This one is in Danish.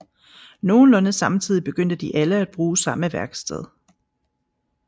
Nogenlunde samtidig begyndte de alle at bruge samme værksted